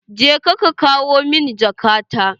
Je ka kawo min jaka ta!